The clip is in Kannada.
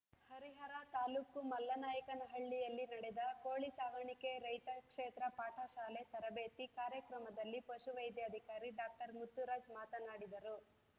ಹರಿಹರ ತಾಲೂಕು ಮಲ್ಲನಾಯಕನಹಳ್ಳಿಯಲ್ಲಿ ನಡೆದ ಕೋಳಿ ಸಾಕಾಣಿಕೆ ರೈತ ಕ್ಷೇತ್ರ ಪಾಠ ಶಾಲೆ ತರಬೇತಿ ಕಾರ್ಯಕ್ರಮದಲ್ಲಿ ಪಶು ವೈದ್ಯಾಧಿಕಾರಿ ಡಾಕ್ಟರ್ ಮುತ್ತುರಾಜ್‌ ಮಾತನಾಡಿದರು